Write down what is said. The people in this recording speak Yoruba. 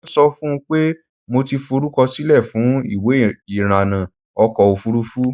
Mo ń sọ fún un pé mo ti forúkọsílẹ̀ fún ìwé irànà ọkọ̀ ofurufú.